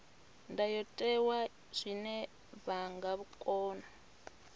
ndayotewa zwine vha nga kona